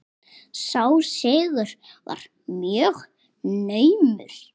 Sá sigur var mjög naumur.